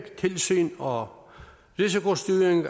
tilsyn og risikostyring